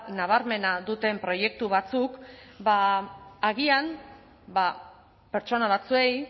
nabarmena duten proiektu batzuk agian pertsona batzuei